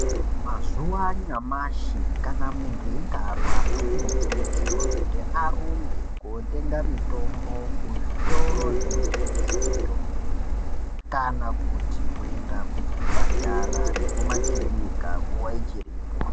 Mazuva anyamashi kana muntu eyinga arwara uno kurudzirwa kuti arumbe kotenga mitombo ku zvitoro zvino tengeswa mitombo kana kuti kuenda ku chipatara neku makirinika nguva ichiripo.